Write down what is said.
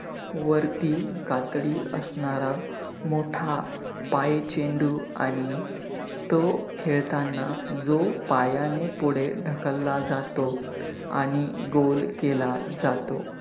वरती कातडी असणारा मोठा पाय चेंडू आणि तो खेळताना जो पायाने पुढे ढकलला जातो आणि goal केला जातो.